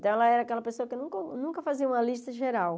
Então, ela era aquela pessoa que nunca nunca fazia uma lista geral.